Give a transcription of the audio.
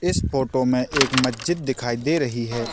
इस फोटो मे एक मस्जिद दिखाई दे रही है।